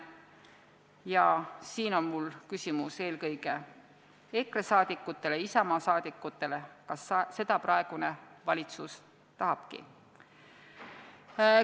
Ja siinkohal on mul küsimus eelkõige EKRE ja Isamaa poliitikutele: kas seda praegune valitsus tahabki?